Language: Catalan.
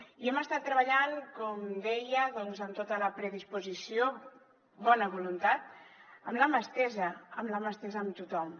hi hem estat treballant com deia amb tota la predisposició bona voluntat amb la mà estesa amb la mà estesa amb tothom